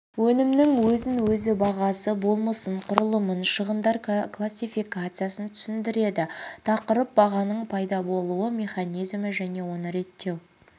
өнімнің өзін-өзі бағасы болмысын құрылымын шығындар классификациясын түсіндіреді тақырып бағаның пайда болуы механизмі және оны реттеу